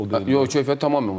Yox, keyfiyyət tamamilə o deyil.